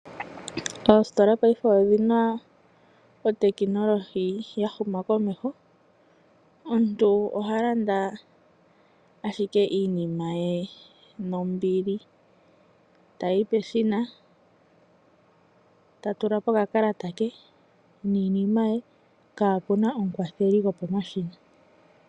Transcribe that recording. Oositola paife odhina ootekinolohi ya huma komeho, omuntu oha landa ashike iinima ye nombili. Ta yi peshina ta tula po okakalata ke niinima ye kaa puna omukwatheli gopo mashina.